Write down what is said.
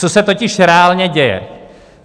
Co se totiž reálně děje?